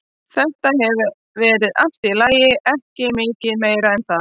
Þetta hefur verið allt í lagi, ekki mikið meira en það.